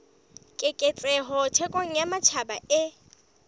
keketseho thekong ya matjhaba e